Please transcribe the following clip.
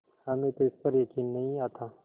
हमें तो इस पर यकीन नहीं आता